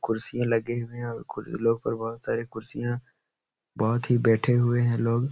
कुर्सीयां लगे हुये हैं। बहोत सारी कुर्सियां बहोत ही बैठे हुए हैं लोग --